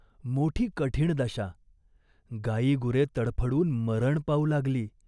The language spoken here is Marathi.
मोठी कठीण दशा. गायीगुरे तडफडून मरण पावू लागली.